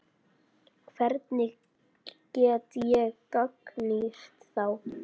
Hvernig get ég gagnrýnt þá?